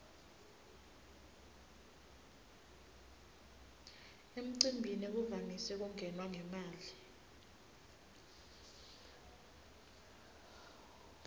emcimbini kuvamise kungenwa ngemali